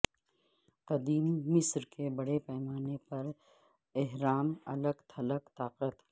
قدیم مصر کے بڑے پیمانے پر اہرام الگ تھلگ طاقت